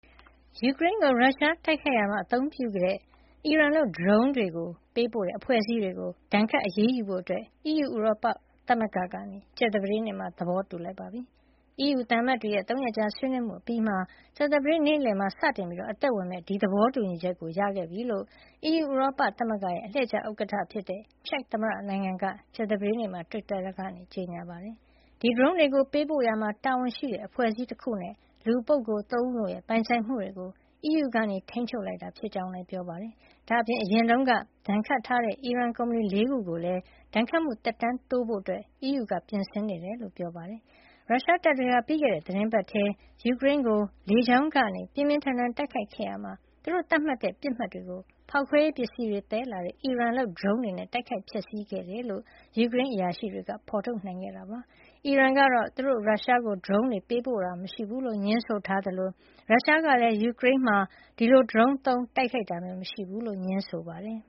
ယူကရိန်းကို ရုရှားတိုက်ခိုက်ရာမှာ အသုံးပြုခဲ့တဲ့ အီရန်လုပ် ဒရုန်းတွေ ပေးပို့တဲ့ အဖွဲ့အစည်းတွေကို ဒဏ်ခတ်အရေးယူဖို့ အီးယူ ဥရောပသမဂ္ဂက ကြာသပတေးနေ့မှာ သဘောတူလိုက်ပါပြီ။ အီးယူသံအမတ်တွေရဲ့ ၃ ရက်ကြာဆွေးနွေးမှုအပြီးမှာ ကြာသပတေးနေ့ နေ့လည်မှာ စတင်အသက်ဝင်မယ့် သဘောတူညီချက်ကို ရခဲ့ပြီဖြစ်ကြောင်း အီးယူဥရောသမဂ္ဂရဲ့ အလှည့်ကျဥက္ကဌ ချက်သမ္မတနိုင်ငံက ကြာသပတေးနေ့မှာ တွစ်တာကနေကြေညာပါတယ်။ ဒီဒရုန်းတွေ ပေးပို့ရာမှာ တာဝန်ရှိတဲ့ အဖွဲ့အစည်း တခုနဲ့ လူပုဂ္ဂိုလ် ၃ ဦး တို့ရဲ့ ပိုင်ဆိုင်မှုတွေကို အီးယူက ထိန်းချုပ်လိုက်တာ ဖြစ်ကြောင်းလည်း ပြောပါတယ်။ ဒါ့အပြင် အရင်တုန်းက ဒဏ်ခတ်ထားတဲ့ အီရန်ကုမ္ပဏီ ၄ ခု ကိုလည်း ဒဏ်ခတ်မှုသက်တမ်းတိုးဖို့ အီးယူက ပြင်ဆင်နေတယ် လို့လည်း ပြောပါတယ်။ ရုရှားတပ်တွေဟာ ပြီးခဲ့တဲ့ သီတင်းပတ်ထဲ ယူကရိန်းကို လေကြောင်းကနေ ပြင်းပြင်းထန်ထန် တိုက်ခိုက်ခဲ့ရာမှာ သူတို့သတ်မှတ်တဲ့ ပစ်မှတ်တွေကို ဖေါက်ခွဲရေးပစ္စည်းတွေ သယ်လာတဲ့ အီရန်လုပ် ဒရုန်းတွေနဲ့ တိုက်ခိုက်ဖျက်ဆီးခဲ့ကြောင်း ယူကရိန်းအရာရှိတွေက ဖေါ်ထုတ်နိုင်ခဲ့တာပါ။ အီရန်ကတော့ သူတို့ ရုရှားကို ဒရုန်းတွေ ပေးပို့တာ မရှိဘူးလို့ ငြင်းဆိုသလို ရုရှားကလည်း ယူကရိန်းမှာ ဒီလို ဒရုန်းသုံး တိုက်ခိုက်တာမရှိဘူးလို့ ငြင်းဆိုပါတယ်